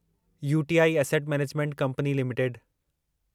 UTI asset management company limited